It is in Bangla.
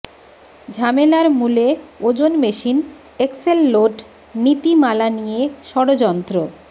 ঝামেলার মূলে ওজন মেশিন এক্সেল লোড নীতিমালা নিয়ে ষড়যন্ত্র